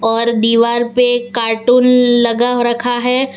और दीवार पे कार्टून लगा रखा है।